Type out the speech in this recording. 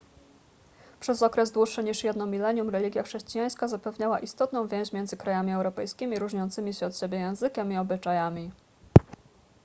przez okres dłuższy niż jedno milenium religia chrześcijańska zapewniała istotną więź między krajami europejskimi różniącymi się od siebie językiem i obyczajami